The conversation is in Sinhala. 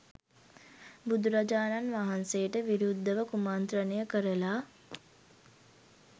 බුදුරජාණන් වහන්සේට විරුද්ධව කුමන්ත්‍රණය කරලා